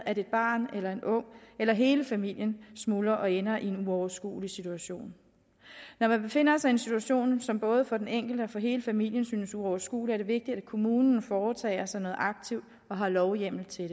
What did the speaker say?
at et barn eller en ung eller hele familien smuldrer og ender i en uoverskuelig situation når man befinder sig i en situation som både for den enkelte og for hele familien synes uoverskuelig er det vigtigt at kommunen foretager sig noget aktivt og har lovhjemmel til